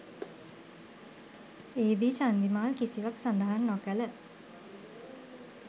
එහිදී චන්දිමාල් කිසිවක්‌ සඳහන් නොකළ